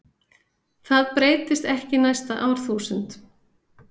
Það breytist ekki næsta árþúsund.